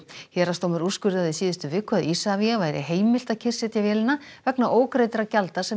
héraðsdómur úrskurðaði í síðustu viku að Isavia væri heimilt að kyrrsetja vélina vegna ógreiddra gjalda sem